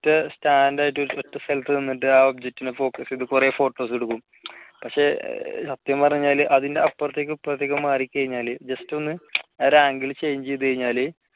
stand ആയിട്ട് result തന്നിട്ട് ആ object നെ focus ചെയ്തിട്ട് കുറെ photos എടുക്കും സത്യം പറഞ്ഞാൽ അതിൻറെ അപ്പുറത്തേക്ക് ഇപ്പുറത്തേക്ക് മാറി കഴിഞ്ഞാല് just ഒന്ന് റാങ്കില് change ചെയ്തു കഴിഞ്ഞാല്